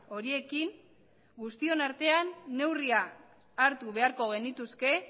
horiekin guztion artean neurriak hartu beharko genituzke